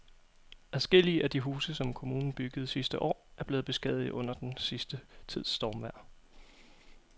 Adskillige af de huse, som kommunen byggede sidste år, er blevet beskadiget under den sidste tids stormvejr.